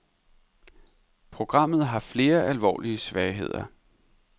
Programmet har flere alvorlige svagheder.